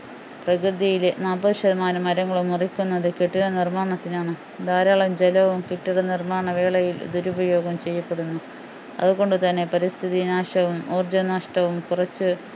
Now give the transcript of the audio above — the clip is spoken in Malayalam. പ്രകൃതിയിലെ നാപ്പതു ശതമാനം മരങ്ങളും മുറിക്കുന്നത് കെട്ടിട നിർമ്മാണത്തിനാണ് ധാരാളം ജലവും കെട്ടിടനിർമ്മാണ വേളയിൽ ദുരുപയോഗം ചെയ്യപ്പെടുന്നു അതു കൊണ്ടുതന്നെ പരിസ്ഥിതി നാശവും ഊർജ്ജനഷ്ടവും കുറച്ച്‌